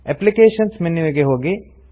applications ಮೆನ್ಯುವಿಗೆ ಹೋಗಿ